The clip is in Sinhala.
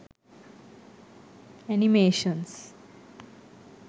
animations